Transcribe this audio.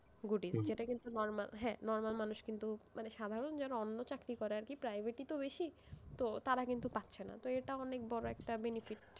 Good ই যেটা কিন্তু normal হ্যাঁ, normal মানুষ কিন্তু, মানে সাধারণ যারা অন্য চাকরি করে আরকি, private ই তো বেশি, তো তারা কিন্তু পাচ্ছে না, তো একটা অনেক বড় একটা benefit,